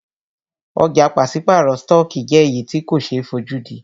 Ọ̀jà pàṣípàrọ̀ stọọkí jẹ́ èyí tí ko ṣe é fojúdí.